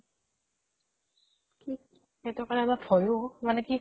kick সিইতো কাৰণে অলপ ভয়ো মানে কি